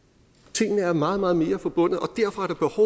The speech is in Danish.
tingene er meget meget mere forbundet